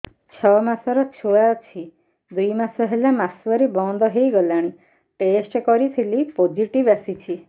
ଛଅ ମାସର ଛୁଆ ଅଛି ଦୁଇ ମାସ ହେଲା ମାସୁଆରି ବନ୍ଦ ହେଇଗଲାଣି ଟେଷ୍ଟ କରିଥିଲି ପୋଜିଟିଭ ଆସିଛି